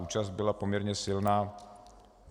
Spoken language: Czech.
Účast byla poměrně silná.